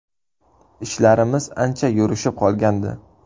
Ishlarimiz ancha yurishib qolgandi.